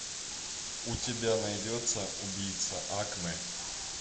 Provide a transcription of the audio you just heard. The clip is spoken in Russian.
у тебя найдется убийца акаме